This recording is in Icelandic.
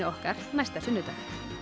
okkar næsta sunnudag